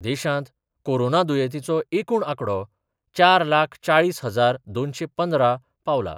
देशांत कोरोना दुयेंतीचो एकूण आंकडो चार लाख चाळीस हजार दोनशे पंदरा पावलां.